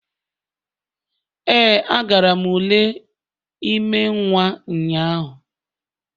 Ee, agara m ule ime nwa ụnyahụ